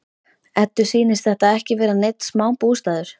Eddu sýnist þetta ekki vera neinn smá bústaður!